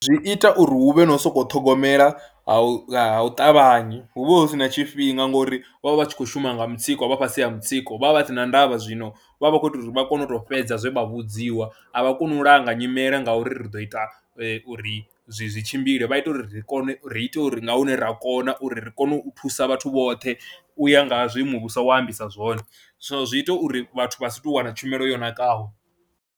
Zwi ita uri hu vhe no sokou ṱhogomela ha u ha u ṱavhanya hu vha hu si na tshifhinga ngori vha vha vha tshi khou shuma nga mutsiko vha fhasi ha mutsiko, vha vha vha si na ndavh, a zwino vha vha vha khou tou ri vha kone u tou fhedza zwe vha vhudziwa, a vha koni u langa nyimele ngauri ri ḓo ita uri zwi tshimbile, vha ita uri ri kone u ri ite uri nga hune ra kona uri ri kone u thusa vhathu vhoṱhe u ya nga zwiimo wa sa ambisa zwone, so zwi ita uri vhathu vha si tou wana tshumelo yo nakaho.